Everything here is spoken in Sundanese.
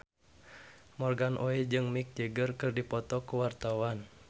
Morgan Oey jeung Mick Jagger keur dipoto ku wartawan